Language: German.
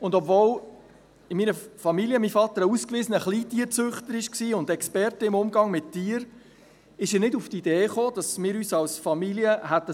Obwohl in meiner Familie mein Vater ein ausgewiesener Kleintierzüchter und Experte im Umgang mit Tieren war, kam er nicht auf die Idee, dass wir uns als Familie bezüglich